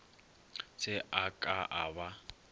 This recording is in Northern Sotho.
se a ka a ba